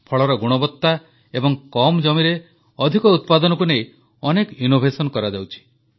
ଫଳର ଗୁଣବତ୍ତା ଏବଂ କମ୍ ଜମିରେ ଅଧିକ ଉତ୍ପାଦନକୁ ନେଇ ଅନେକ ନୂତନ ପ୍ରୟାସ କରାଯାଉଛି